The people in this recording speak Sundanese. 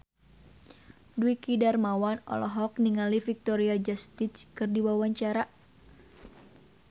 Dwiki Darmawan olohok ningali Victoria Justice keur diwawancara